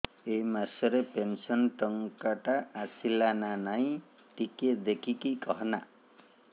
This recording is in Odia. ଏ ମାସ ରେ ପେନସନ ଟଙ୍କା ଟା ଆସଲା ନା ନାଇଁ ଟିକେ ଦେଖିକି କହନା